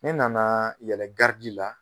Ne nanaa yɛlɛ la